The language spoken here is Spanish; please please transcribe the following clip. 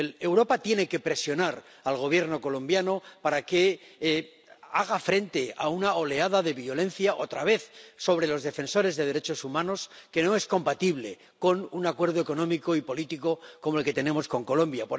Europa tiene que presionar al Gobierno colombiano para que haga frente a una oleada de violencia, otra vez, contra los defensores de los derechos humanos, que no es compatible con un acuerdo económico y político como el que tenemos con Colombia.